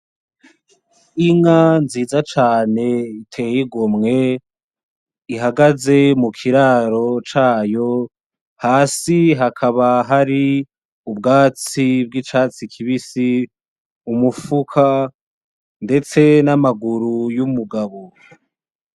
Inka nziza cane iteye igomwe ihagaze mu kiraro cayo, hasi hakaba hari ubwatsi bw'icatsi kibisi, umufuka ndetse n'amaguru y'umugabo.